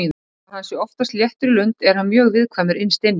Þó að hann sé oftast léttur í lund er hann mjög viðkvæmur innst inni.